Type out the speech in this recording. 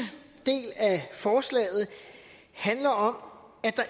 del af forslaget handler om at der